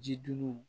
Ji dun